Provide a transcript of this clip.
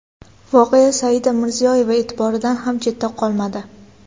Voqea Saida Mirziyoyeva e’tiboridan ham chetda qolmadi .